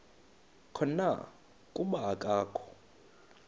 khona kuba akakho